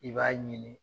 I b'a ɲini